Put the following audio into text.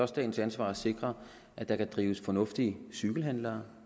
statens ansvar at sikre at der kan drives fornuftige cykelhandler